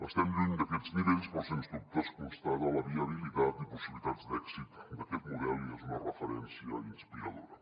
estem lluny d’aquests nivells però sens dubte es constaten la viabilitat i possibilitats d’èxit d’aquest model i és una referència inspiradora